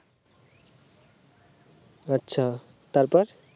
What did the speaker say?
আচ্ছা তারপর